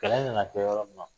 Kɛlɛ nana se yɔrɔ min ma